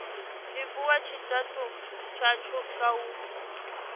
livhuwa tshitafu tshashu kha u